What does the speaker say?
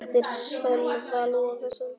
eftir Sölva Logason